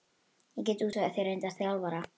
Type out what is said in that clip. Ég get útvegað þér reyndan þjálfara.